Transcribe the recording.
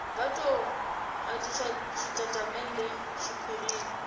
vha do nwalisa tshitatamennde tshiphirini